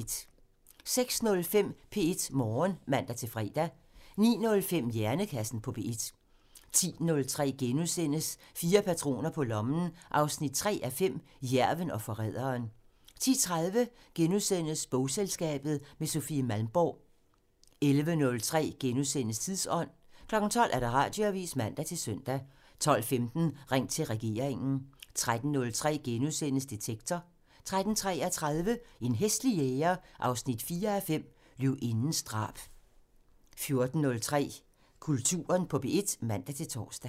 06:05: P1 Morgen (man-fre) 09:05: Hjernekassen på P1 (man) 10:03: Fire patroner på lommen 3:5 – Jærven og forræderen * 10:30: Bogselskabet – med Sofie Malmborg * 11:03: Tidsånd *(man) 12:00: Radioavisen (man-søn) 12:15: Ring til regeringen (man) 13:03: Detektor *(man) 13:33: En hæslig jæger 4:5 – Løvindens drab 14:03: Kulturen på P1 (man-tor)